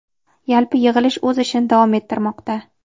Yalpi yig‘ilish o‘z ishini davom ettirmoqda.